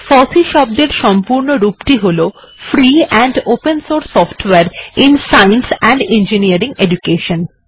foci শব্দের সম্পূর্ণ রূপ টি হল ফ্রি এন্ড ওপেন সোর্স সফটওয়ারে in science and engineering education